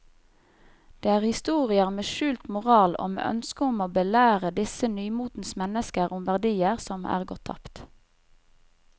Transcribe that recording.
Det er historier med skjult moral og med ønske om å belære disse nymotens mennesker om verdier som er gått tapt.